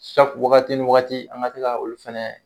wagati ni wagati an ka se ka olu fɛnɛ